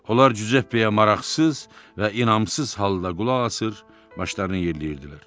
Onlar Cüzeppeyə maraqsız və inamsız halda qulaq asır, başlarını yerləyirdilər.